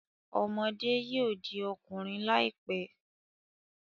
Ọmọde yoo di ọkunrin laipe